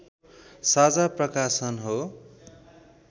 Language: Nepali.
साझा प्रकाशन हो